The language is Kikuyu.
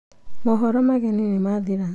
mohoro mageni nĩ mathira